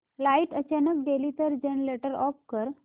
light अचानक गेली तर जनरेटर ऑफ कर